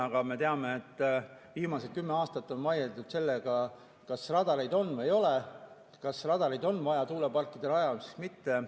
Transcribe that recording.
Aga me teame, et viimased kümme aastat on vaieldud selle üle, kas radareid on või ei ole, kas radareid on vaja tuuleparkide rajamiseks või mitte.